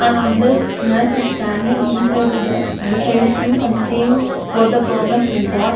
And on this nurse is standing inside the beside him and seeing what the problem he got.